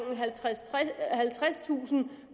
halvtredstusind